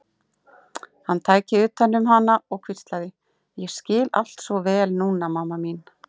Hann tæki utan um hana og hvíslaði: Ég skil allt svo vel núna, mamma mín.